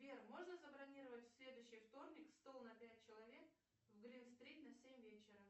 сбер можно забронировать в следующий вторник стол на пять человек в грин стрит на семь вечера